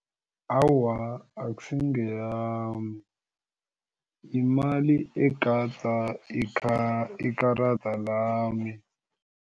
Awa, akusi ngeyama yimali egada ikarada lami.